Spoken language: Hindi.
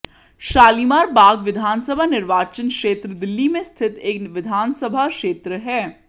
शालीमार बाग विधानसभा निर्वाचन क्षेत्र दिल्ली में स्थित एक विधान सभा क्षेत्र है